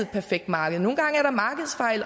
perfekt marked nogle gange